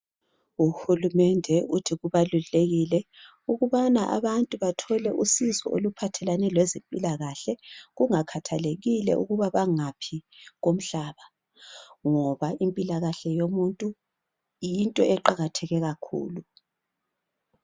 Uhulumende uthi kubalulekile ukubana abantu bathole usizo oluphathelane lwezempilakahle kungakhathalekile ukubana bangaphi komnhlaba ngoba impilakahle yomuntu yinto eqakatheke kakhulu